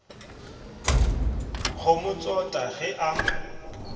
go mo tsota ge a